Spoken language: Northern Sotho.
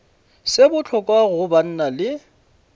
se bohloko go banna le